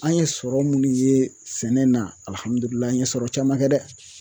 An ye sɔrɔ minnu ye sɛnɛ na an ye sɔrɔ caman kɛ dɛ